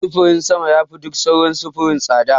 Sufurin sama yafi duk sauran sufuri tsada.